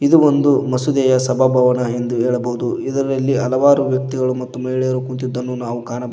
ಇದು ಒಂದು ಮಸೀದಿಯ ಸಭಾ ಭವನ ಎಂದು ಹೇಳಬಹುದು ಇದರಲ್ಲಿ ಹಲವಾರು ರೀತಿಯ ಮಹಿಳೆಯರು ಕುಂತಿದನ್ನು ನಾವು ಕಾಣಬ --